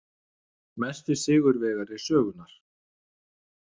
Mesti sigurvegari sögunnar?